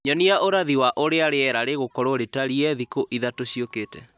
Nyonia ũrathi wa ũrĩa rĩera rĩgũkorwo rĩtariĩ thikũ ithatũ ciũkĩte